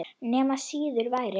Nema síður væri.